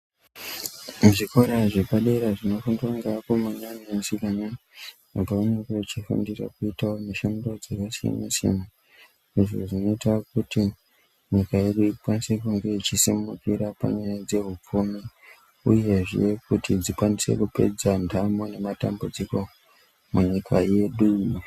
Muzvikora zvepadera zvinofundwa ngeakomana neasikana, pavanenge vechifundira kuitawo mishando dzakasiyana-siyana, izvo zvinoita kuti nyika yedu inge ichisimukira panyaya dzehupfumi uyezve kuti dzikwanise kupedza ndamo nematambudziko munyika yedu.